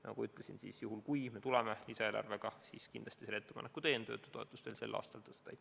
Nagu ma ütlesin, juhul kui me tuleme lisaeelarvega välja, siis kindlasti ma teen ettepaneku töötutoetust veel sel aastal tõsta.